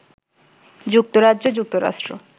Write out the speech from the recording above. যুক্তরাজ্য, যুক্তরাষ্ট্র